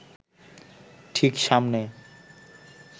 ঠিক সামনে